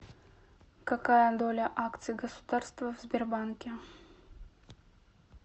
какая доля акций государства в сбербанке